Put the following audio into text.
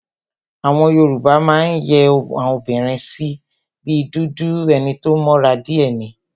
Àwọn Yoruba máa ń yẹ́ àwọn obìnrin sí, bí dúdú, enito mọ́ra díè ni,